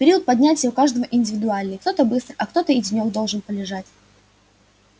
период поднятия у каждого индивидуальный кто-то быстро а кто-то и денёк должен полежать